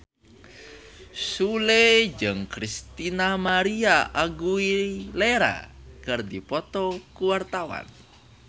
Sule jeung Christina María Aguilera keur dipoto ku wartawan